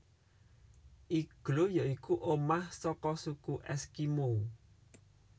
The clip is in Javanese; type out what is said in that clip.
Igloo ya iku omah saka suku Èskimo